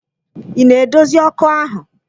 Ị na-edozi ọkụ ahụ?